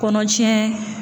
Kɔnɔ cɛn